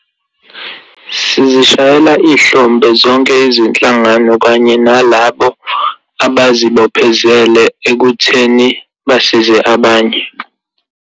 Sizishayela ihlombe zonke izinhlangano kanye nalabo abazibophezele ekutheni bazise abanye.